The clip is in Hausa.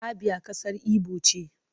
Abia kasar Igbo ce.